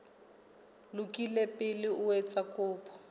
lokile pele o etsa kopo